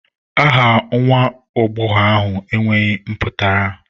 Aha nwa agbọghọ ahụ enweghị mpụtara